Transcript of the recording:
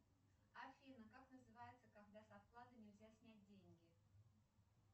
афина как называется когда со вклада нельзя снять деньги